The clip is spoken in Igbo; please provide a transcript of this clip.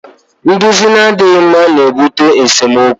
Nduzi na-adịghị mma na-ebute n'esemokwu